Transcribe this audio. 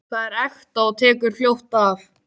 Það er ekta og tekur fljótt af.